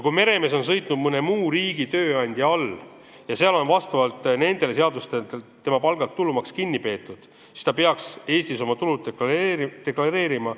Kui meremees on sõitnud mõne muu riigi tööandja all ja tema palgalt on vastavalt nende seadustele tulumaks kinni peetud, siis ta peaks oma tulu Eestis deklareerima.